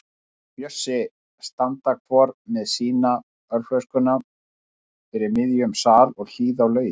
Bjössi standa hvor með sína ölflöskuna fyrir miðjum sal og hlýða á lögin.